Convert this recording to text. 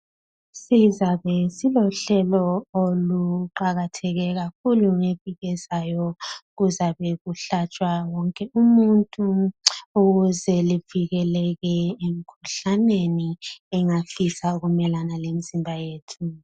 Sizabe silohlelo oluqakatheke kakhulu ngeviki elizayo kuzabe kuhlatshwa wonke umuntu ukuze livikelele emkhuhlaneni engafisa ukumelana lemzimba yethu.